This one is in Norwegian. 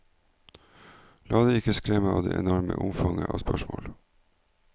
La deg ikke skremme av det enorme omfanget av spørsmål.